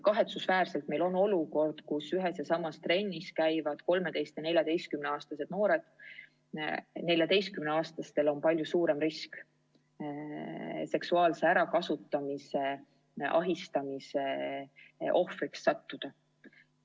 Kahetsusväärselt on olukorras, kus ühes ja samas trennis käivad 13- ja 14-aastased noored, 14-aastastel palju suurem risk seksuaalse ärakasutamise, ahistamise ohvriks sattuda.